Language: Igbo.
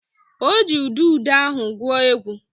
O ji udude ahụ gwuo egwu